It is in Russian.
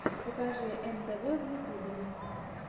покажи эм тэ вэ в ютубе